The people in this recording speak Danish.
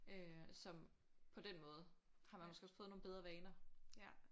Øh som på den måde har man måske også fået nogle bedre vaner